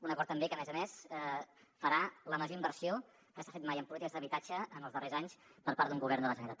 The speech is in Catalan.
un acord també que a més a més farà la major inversió que s’ha fet mai en polítiques d’habitatge en els darrers anys per part d’un govern de la generalitat